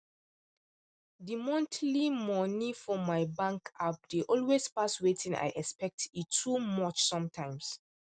the monthly money for my bank app dey always pass wetin i expect e too much sometimes